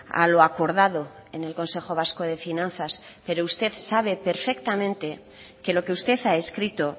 a lo acordado en el consejo vasco de finanzas pero usted sabe perfectamente que lo que usted ha escrito